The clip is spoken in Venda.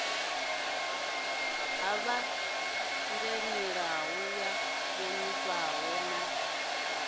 ha ṱhanganelano ya ṱhonifho na